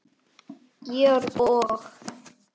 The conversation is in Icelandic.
Georg og